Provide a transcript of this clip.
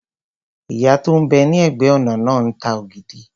Ìyá tó n bẹ ní ẹ̀gbẹ́-ọ̀nà náà ń ta ògidì